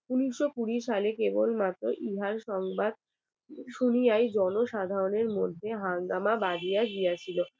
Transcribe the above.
উনিশশো কুড়ি সালে কেবলমাত্র ইহার সংবাদ শুনিয়াই জনসাধারণের মধ্যে হাঙ্গামা বাঁধিয়া প্রিয়া দিয়াছিল